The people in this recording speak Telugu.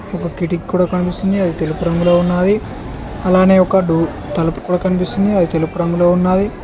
ఒక కిటిక్ కూడా కనిపిస్తుంది అది తెలుపు రంగులో ఉన్నావి అలానే ఒక డో తలుపు కూడా కనిపిస్తుంది అది తెలుపు రంగులో ఉన్నాది.